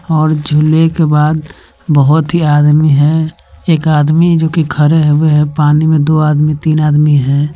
और झूले के बाद बहोत ही आदमी है एक आदमी जो की खड़े हुए है पानी में दो आदमी तीन आदमी है।